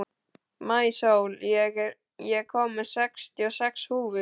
Maísól, ég kom með sextíu og sex húfur!